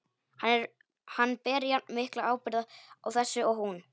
Hann ber jafnmikla ábyrgð á þessu og hún.